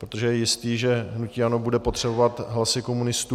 Protože je jisté, že hnutí ANO bude potřebovat hlasy komunistů.